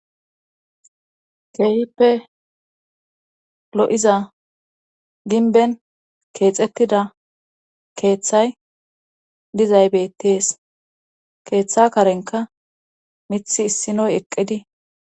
keehippe lo7iza ginben keexettida keeththay dizay betees keeththa karenka mithi issinoy eqqidi